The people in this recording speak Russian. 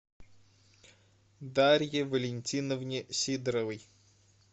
дарье валентиновне сидоровой